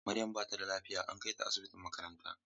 Maryam bata da lafiya an kaita asibitin makaranta.